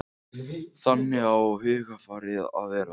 Þannig á hugarfarið að vera.